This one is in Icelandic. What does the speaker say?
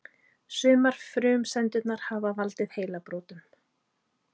Sumar frumsendurnar hafa valdið heilabrotum.